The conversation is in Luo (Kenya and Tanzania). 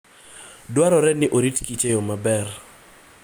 Dwarore ni orit kich e yo maber.